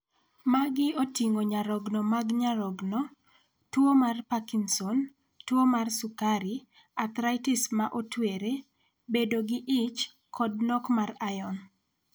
Magi oting'o nyarogno mag nyarogno, tuo mar Parkinson, tuo mar sukari, athritis ma otwere, bedo gi ich, kod nok mar iron.